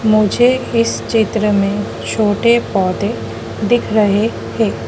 मुझे इस चित्र में छोटे पौधे दिख रहे है।